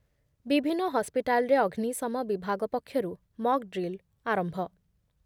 ବିଭିନ୍ନ ହସ୍‌ପିଟାଲ ଅଗ୍ନିଶମ ବିଭାଗ ପକ୍ଷରୁ ମକ୍‌ଡ୍ରିଲ ଆରମ୍ଭ